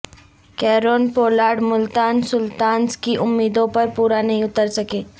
Kieron Pollard Multan Sultans کی امیدوں پر پورا نہیں اتر سکے